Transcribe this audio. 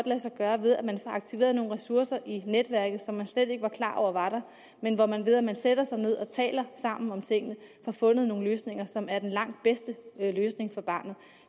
lade sig gøre ved at aktivere nogle ressourcer i netværket som man slet ikke var klar over var der men hvor man ved at man sætter sig ned og taler sammen om tingene får fundet en løsning som er den langt bedste løsning for barnet